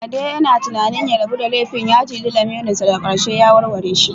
Ade yana tunanin ya rabu da laifin ya ciji lamirinsa daga ƙarshe ya warware shi.